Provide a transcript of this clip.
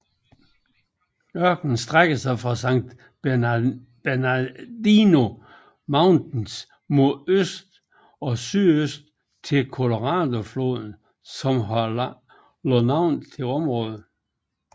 Ørkenen strækker sig fra San Bernardino Mountains mod øst og sydøst til Coloradofloden som har lagt navn til området